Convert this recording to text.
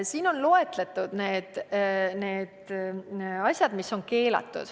Siin on loetletud need asjad, mis on keelatud.